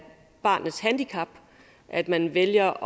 barnets handicap at man vælger